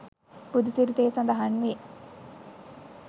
බුදුසිරිතේ සඳහන් වේ.